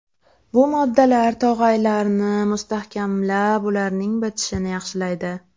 Bu moddalar tog‘aylarni mustahkamlab, ularning bitishini yaxshilaydi.